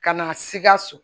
Ka na sikaso